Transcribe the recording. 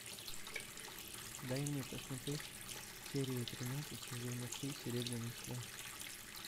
дай мне посмотреть серию тринадцать сезона три серебряный страж